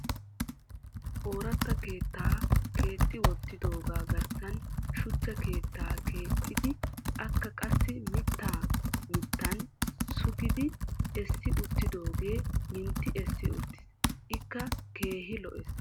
ooratta keettaa keexxi wotidoogaa garssan shuchcha keettaa keexxidi akka qassi mitaa mittan sugidi essi uttidoogee mintti essi uttiis. ikka keehi lo'ees.